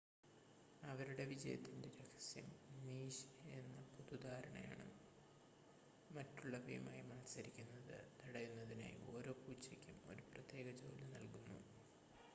അവരുടെ വിജയത്തിൻ്റെ രഹസ്യം നീഷ് എന്ന പൊതുധാരണയാണ് മറ്റുള്ളവയുമായി മത്സരിക്കുന്നത് തടയുന്നതിനായി ഓരോ പൂച്ചയ്ക്കും ഒരു പ്രത്യേക ജോലി നൽകുന്നു